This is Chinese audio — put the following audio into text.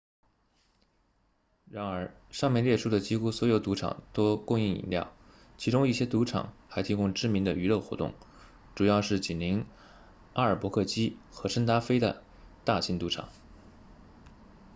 然而上面列出的几乎所有赌场都供应饮料其中一些赌场还提供知名的娱乐活动主要是紧邻阿尔伯克基和圣达菲的大型赌场